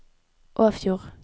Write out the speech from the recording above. Åfjord